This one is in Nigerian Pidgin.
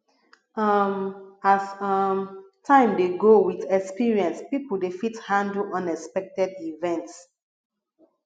um as um time dey go with experience pipo dey fit handle unexpected events